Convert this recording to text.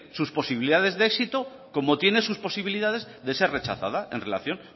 sus posibilidades de éxito como tiene sus posibilidades de ser rechazada en relación